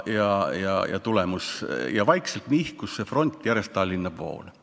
Ja vaikselt nihkus see front järjest Tallinna poole.